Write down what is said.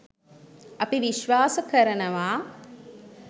අපි විශ්වාස කරනව